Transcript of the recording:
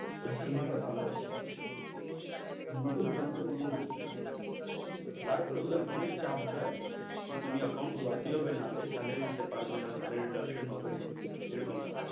Customer রা ভালো আছে, নুতুন branch এ নুতুন , তার ওপর ওদের কে অনেক চাপ দেয়, যে account খোলাতেই হবে, নাহলে salary দিতে পারবে না, salary deduction হবে, এরকম বেপার,